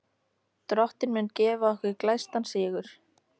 Drottinn mun gefa okkur glæstan sigur.